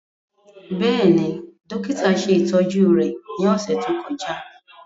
Bẹ́ẹ̀ni, dokita ṣe itọju rẹ ni ọsẹ to kọja.